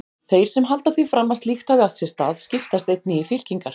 Þeir sem halda því fram að slíkt hafi átt sér stað, skiptast einnig í fylkingar.